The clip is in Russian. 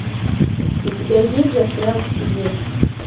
у тебя есть застрял в тебе